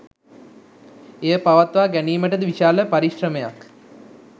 එය පවත්වා ගැනීමට ද විශාල පරිශ්‍රමයක්